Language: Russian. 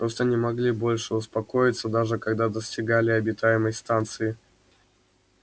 просто не могли больше успокоиться даже когда достигали обитаемой станции